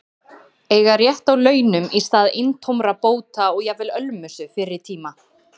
Eiga rétt á launum í stað eintómra bóta og jafnvel ölmusu fyrri tíma.